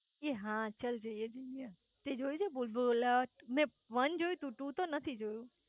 એ હા ચલ જઇયે જઇયે તે જોયું છે ભુલભુલાઈ મેં વેન જોયું છે ટુ નથી જોયું